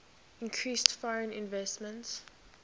increased foreign investment